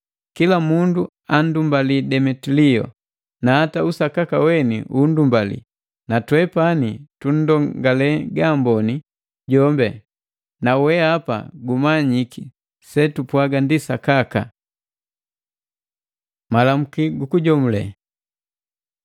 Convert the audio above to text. Kila mundu andumbali Demetilio na hata usakaka weni undumbali. Natwepani tunndongale gaamboni jombi, nawehapa gumanyiki setupwaga ndi sakaka. Malamuki gukujomule